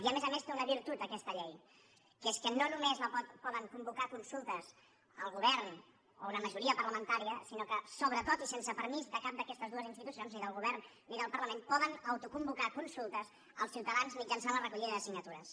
i a més a més té una virtut aquesta llei que és que no només pot convocar consultes el govern o una majoria parlamentària sinó que sobretot i sense permís de cap d’aquestes dues institucions ni del govern ni del parlament poden autoconvocar consultes els ciutadans mitjançant la recollida de signatures